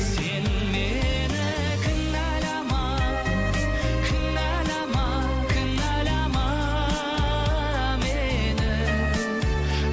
сен мені кінәлама кінәлама кінәлама мені